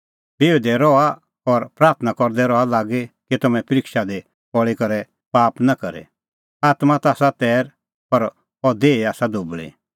बिहुदै रहा और प्राथणां करदै रहा लागी कि तम्हैं परिक्षा दी पल़ी करै पाप नां करे आत्मां ता आसा तैर पर अह देही आसा दुबल़ी